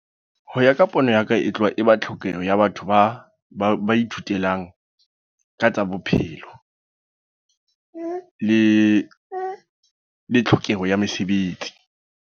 Ho ya ka pono ya ka. E tloha e ba tlhokeho ya batho ba, ba ba ithutelang ka tsa bophelo. Le tlhokeho ya mesebetsi.